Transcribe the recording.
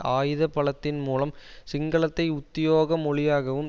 ஆயுத பலத்தின் மூலம் சிங்களத்தை உத்தியோக மொழியாகவும்